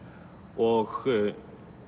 og